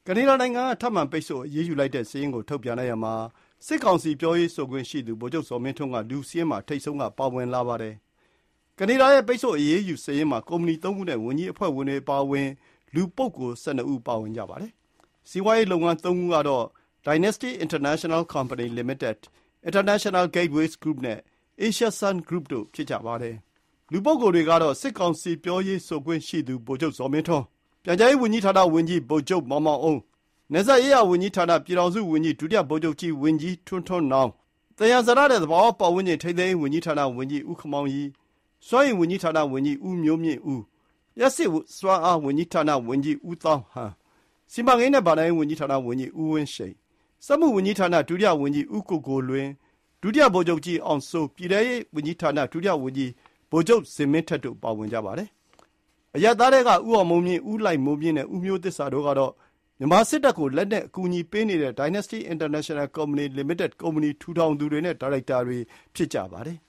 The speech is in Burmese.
နေဒါနိုင်ငံကထုတ်လိုက်တဲ့ ထပ်မံ ပိတ်ဆို့အရေးယူလိုက်တဲ့စာရင်းမှာ စစ်ကောင်စီ ပြောရေးဆိုခွင့်ရှိသူ ဗိုလ်ချုပ်ဇော်မင်းထွန်းအမည်က စာရင်းရဲ့ထိပ်ဆုံးက ပါလာပါတယ်။ ကနေဒါရဲ့ ပိတ်ဆို့အရေးယူစာရင်းမှာ ကုမ္ပဏီ ၃ ခုနဲ့ ဝန်ကြီးအဖွဲ့ဝင်တွေ အပါအဝင် လူပုဂ္ဂိုလ် ၁၂ ဦး ပါဝင်ပါတယ်။ စီးပွါးရေးလုပ်ငန်း ၃ ခုကတော့ Dynasty International Company Limited ၊ International Gateways Group နဲ့ Asia Sun Group တို့ ဖြစ်ကြပါတယ်။ လူပုဂ္ဂိုလ်တွေကတော့ စစ်ကောင်စီ ပြောရေးဆိုခွင့်ရှိသူ ဗိုလ်ချုပ်ဇော်မင်းထွန်း၊ ပြန်ကြားရေး ဝန်ကြီးဌာနဝန်ကြီး ဗိုလ်ချုပ်မောင်မောင်အုန်း၊ နယ်စပ်ရေးရာဝန်ကြီးဌာန ပြည်ထောင်စုဝန်ကြီး ဒုတိယဗိုလ်ချုပ်ကြီး ဝန်ကြီးထွန်းထွန်းနောင်၊ သယံဇာတနှင့် သဘာဝပတ်ဝန်းကျင် ထိန်းသိမ်းရေး ဝန်ကြီးဌာန ဝန်ကြီးဦးခင်မောင်ရီ၊ စွမ်းအင်ဝန်ကြီးဌာန ဝန်ကြီးဦးမျိုးမြင့်ဦး၊ လျှပ်စစ်စွမ်းအား ဝန်ကြီးဌာနဝန်ကြီး ဦးသောင်းဟန်၊ စီမံကိန်းနှင့် ဘဏ္ဍာရေးဝန်ကြီးဌာန ဝန်ကြီး ဦးဝင်းရှိန်၊ စက်မှုဝန်ကြီးဌာန ဒုတိယဝန်ကြီး ဦးကိုကိုလွင်၊ ဒုတိယ ဗိုလ်ချုပ်ကြီး အောင်စိုး၊ ပြည်ထဲရေး ဝန်ကြီးဌာန ဒုတိယဝန်ကြီး ဗိုလ်ချုပ်ဇင်မင်းထက်တို့ ပါဝင်ကြပါတယ်။ အရပ်သားထဲက ဦးအောင်မိုးမြင့်၊ ဦးလှိုင်မိုးမြင့်နဲ့ ဦးမျိုးသစ္စာတို့ကတော့ မြန်မာစစ်တပ်ကို လက်နက်ကူညီပေးနေတဲ့ Dynasty International Company Limited ကုမ္ပဏီ ထူထောင်သူတွေ နဲ့ ဒါရိုက်တာတွေ ဖြစ်ကြပါတယ်